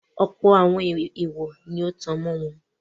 Ọ̀pọ̀ àwọn èwọ̀ọ̀ ni ó tan mọ́ wọn.